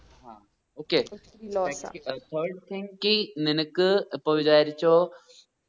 ആ okay third thing നിനക്ക് എപ്പോ വിചാരിച്ചോ